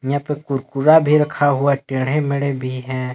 यहां पे कुरकुरा भी रखा हुआ टेडे मेडे भी हैं।